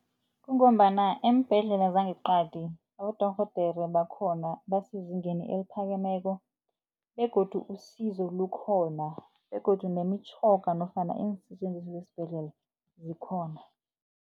Kungombana eembhedlela zangeqadi abodorhodere bakhona basezingeni eliphakeme ziko begodu usizo likhona begodu nemitjhoga nofana iinsetjenziswa zesibhedlela zikhona.